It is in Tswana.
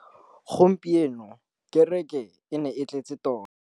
Gompieno kêrêkê e ne e tletse tota.